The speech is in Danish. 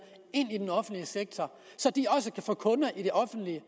ind til den offentlige sektor så de også kan få kunder i det offentlige